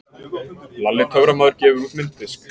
Lalli töframaður gefur út mynddisk